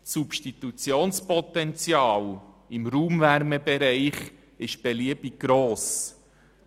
Das Substitutionspotenzial im Raumwärmebereich ist beliebig gross.